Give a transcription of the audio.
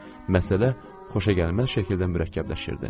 Məsələ xoşagəlməz şəkildə mürəkkəbləşirdi.